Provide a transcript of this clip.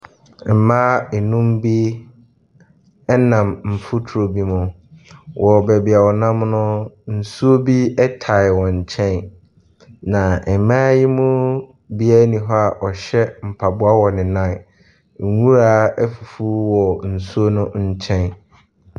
Mmaa nnum bi nam mfuturo bi mu. Wɔ baabi a wɔnam no, nsuo bi tae wɔn nkyɛn, na mmaa yi mu biara nni hɔ a ɔhyɛ mpaboa wɔ ne nan. Nwura afufu wɔ nsuo no nkyɛn.